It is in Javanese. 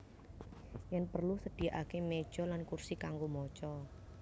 Yen perlu sediakake meja lan kursi kanggo maca